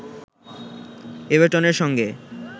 এভারটনের সঙ্গে